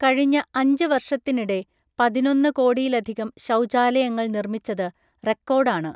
കഴിഞ്ഞ അഞ്ച് വർഷത്തിനിടെ പതിനൊന്ന്‌ കോടിയിലധികം ശൗചാലയങ്ങൾ നിർമ്മിച്ചത് റെക്കോർഡാണ് .